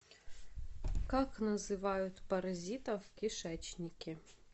как называют паразитов в кишечнике